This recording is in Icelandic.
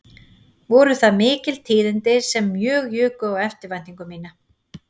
Voru það mikil tíðindi sem mjög juku á eftirvæntingu mína